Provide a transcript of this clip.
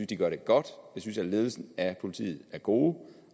de gør det godt jeg synes at ledelsen af politiet er god